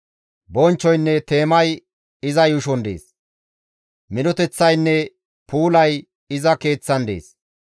Bonchchoynne teemay iza yuushon dees; minoteththaynne puulay iza Keeththan dees.